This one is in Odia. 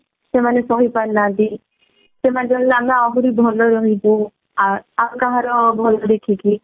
ସେମାନେ ସହି ପାରୁନାହାନ୍ତି ସେମାନେ ଚାହିଁଲେ ଆମେ ଆହୁରି ଭଲ ରେ ରହିବୁ ଆଉ ଆଉ କାହାର ଭଲ ଦେଖିକି